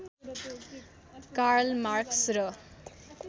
Karl Marx र